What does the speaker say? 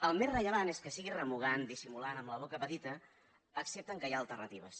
el més rellevant és que sigui remugant dissimulant amb la boca petita accepten que hi ha alternatives